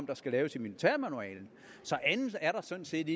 der skal laves i militærmanualen der er sådan set